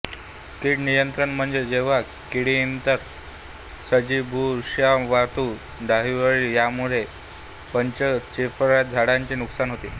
कीड नियंत्रण म्हणजे जेव्हा कीटकइतर सजीवबुरशीमावातुडतुडेअळी यामुळे पिकांचेफळझाडांचे नुकसान होते